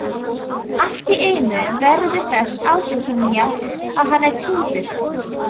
Alltíeinu verðum við þess áskynja að hann er týndur.